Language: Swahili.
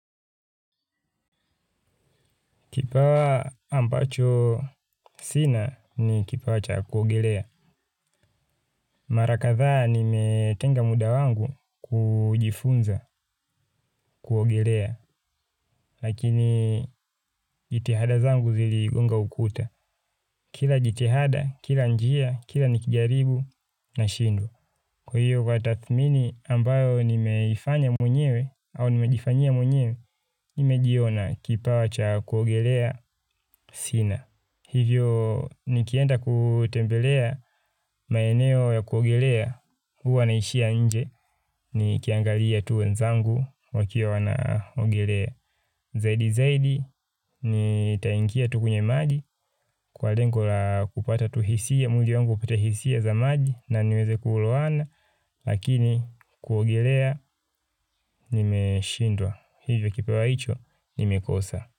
Kipawa ambacho sina ni kipawa cha kuogelea. Mara kadhaa nimetenga muda wangu kujifunza kuogelea. Lakini jitihada zangu ziligonga ukuta. Kila jitihada, kila njia, kila nikijaribu nashindwa. Kwa hiyo kwa tathmini ambayo nimeifanya mwenyewe au nimejifanyia mwenyewe, nimejiona kipawa cha kuogelea sina. Hivyo, nikienda kutembelea maeneo ya kuogelea, huwa naishia nje, nikiangalia tu wenzangu wakiwa wanaogelea. Zaidi zaidi nitaingia tu kwenye maji kwa lengo la kupata tuhisia mwili wangu upate hisia za maji na niweze kulowana lakini kuogelea nimeshindwa hivyo kipawa hicho nimekosa.